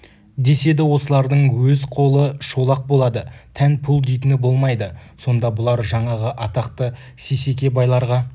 деседі осылардың өз қолы шолақ болады тән пұл дейтіні болмайды сонда бұлар жаңағы атақты сейсеке байларға